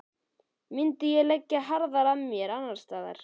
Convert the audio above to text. Myndi ég leggja harðar að mér annarsstaðar?